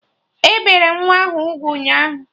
E bere nwa ahụ ugwu ụnyaahụ